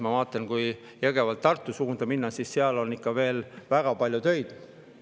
Ma vaatan, et kui Jõgevalt Tartu suunas minna, siis seal on ikka veel väga palju töid.